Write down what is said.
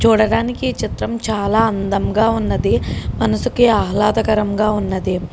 చూడడానికి చిత్రం చాల అందంగా ఉన్నది. మనసుకి ఆహ్లదకరం గా ఉన్నది.